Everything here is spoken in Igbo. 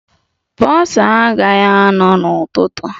Bọsa agaghi anọ n'ụtụtụ